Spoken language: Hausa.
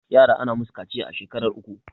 yara ana musu kaciya a shekar uku